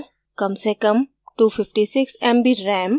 ram से ram 256 mb ram